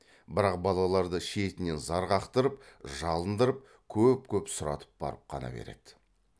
бірақ балаларды шетінен зар қақтырып жалындырып көп көп сұратып барып қана береді